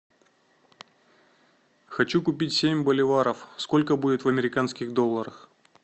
хочу купить семь боливаров сколько будет в американских долларах